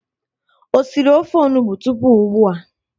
Ị siri ofe onugbo tupu ugbua?